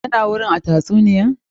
Ya na gurin a tatsuniyar?